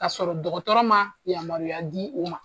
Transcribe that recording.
Ka sɔrɔ dɔgɔtɔrɔ ma yamaruya di u ma.